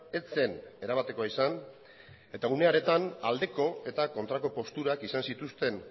ez zen erabatekoa izan eta une horretan aldeko eta kontrako posturak izan zituzten